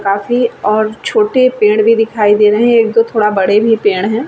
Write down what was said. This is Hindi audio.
काफी और छोटे पेड़ भी दिखाई दे रहे है एक दो थोड़े बड़े भी पेड़ है।